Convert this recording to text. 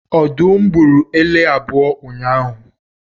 Ọdụm gburu ele abụọ ụnyahụ